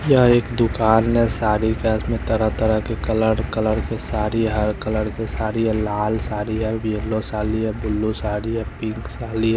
यह एक दुकान में साड़ी का इसमें तरह तरह के कलर कलर के साड़ी हर कलर की साड़ी है लाल साड़ी है येलो साड़ी है ब्लू साड़ी है पिंक साड़ी है।